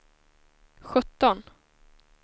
sjutton